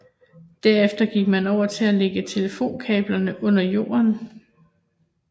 Derefter gik man over til at lægge telefonkablerne under jorden